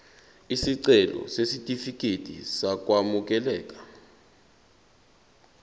isicelo sesitifikedi sokwamukeleka